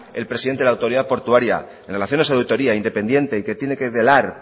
el presidente la autoridad portuaria en relación a esa autoría independiente que tiene que velar